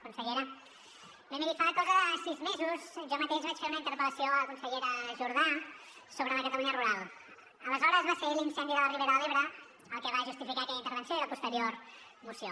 consellera bé miri fa cosa de sis mesos jo mateix vaig fer una interpel·lació a la consellera jordà sobre la catalunya rural aleshores va ser l’incendi de la ribera de l’ebre el que va justificar aquella intervenció i la posterior moció